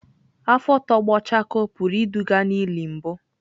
Afọ tọgbọ chakoo pụrụ iduga n'ili mbụ.